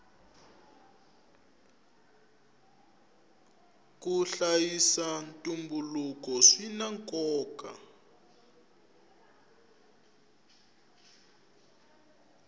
ku hlayisa ntumbuluko swina nkoka